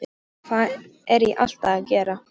Hvað er ég alltaf að gera?